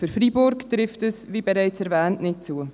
Für Freiburg trifft dies, wie bereits erwähnt, nicht zu.